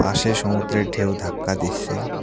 পাশে সমুদ্রের ঢেউ ধাক্কা দিস্যে ।